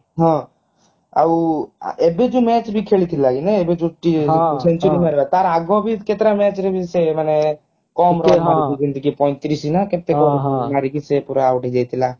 ହଁ ଆଉ ଏବେ ଯୋଉ match ବି ଖେଳି ଥିଲା ଏଇନେ ଯୋଉ T century ତାର ଆଗ ବି କେତେ ଟା match ରେ ବି ସେ ମାନେ କମ run ଯେମିତିକି ପଇଁତିରିଶି ନା ଏମିତି କଣ ହାରିକି ସେ ପୁରା out ହେଇଯାଇଥିଲା